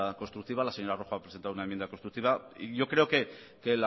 constructiva la señora rojo ha presentado una enmienda constructiva y yo creo